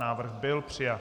Návrh byl přijat.